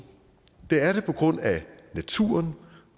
det første er det på grund af naturen